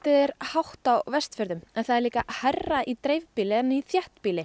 er hátt á Vestfjörðum en það er líka hærra í dreifbýli en í þéttbýli